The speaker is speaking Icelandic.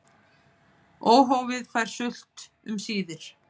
Óhófið fær sult um síðir.